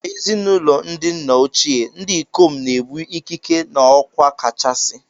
N'ezinụlọ ndi nna ochie, ndị ikom na-ebu ikike na okwa kachasị